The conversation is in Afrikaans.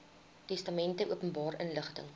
testamente openbare inligting